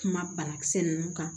Kuma banakisɛ ninnu kan